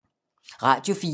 Radio 4